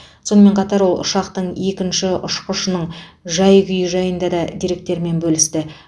сонымен қатар ол ұшақтың екінші ұшқышының жай күйі жайында да деректермен бөлісті